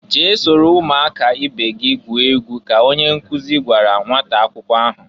"Jee soro umu aka ibe gị gwube egwu!" ka onye nkụzị gwara nnwata akwụkwọ ahụ.